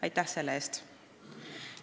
Aitäh selle eest!